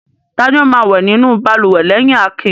Ta ni ó máa wẹ̀ nínú balùwẹ̀ lẹ́yìn Akin?